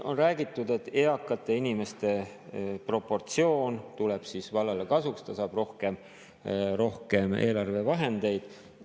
On räägitud, et eakate inimeste proportsioon tuleb vallale kasuks, ta saab rohkem eelarvevahendeid.